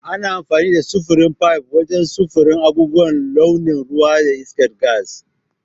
Ana amfani da sufurin fayif wajen sufurin abubuwan launin ruwa da iskar gas.